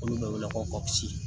Olu dɔ weele ko